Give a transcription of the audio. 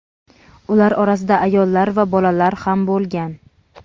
Ular orasida ayollar va bolalar ham bo‘lgan.